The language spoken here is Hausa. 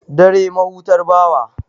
Dare, mahutar bawa.